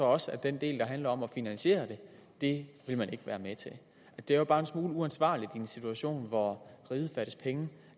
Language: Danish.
også at den del der handler om at finansiere det vil man ikke være med til det er jo bare en smule uansvarligt i en situation hvor riget fattes penge